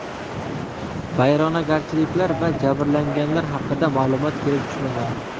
Vayronagarchiliklar va jabrlanganlar haqida ma’lumot kelib tushmagan.